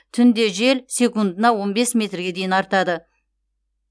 түнде жел секундына он бес метрге дейін артады